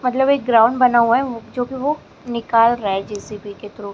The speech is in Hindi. मतलब एक ग्राउंड बना हुआ है जो कि वो निकाल रहा है जे_सी_बी के थ्रू ।